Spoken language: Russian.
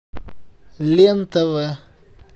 лен тв